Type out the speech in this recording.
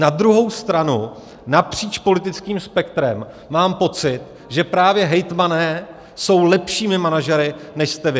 Na druhou stranu napříč politickým spektrem mám pocit, že právě hejtmani jsou lepšími manažery, než jste vy.